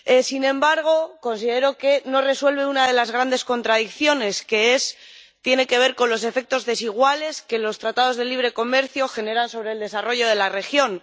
Sin embargo, considero que no resuelve una de las grandes contradicciones, que tiene que ver con los efectos desiguales que los Tratados de Libre Comercio generan sobre el desarrollo de la región.